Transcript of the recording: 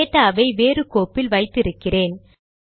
டேடாவை வேறு கோப்பில் வைத்தி இருக்கிறேன்